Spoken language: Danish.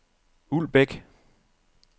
Uldbæk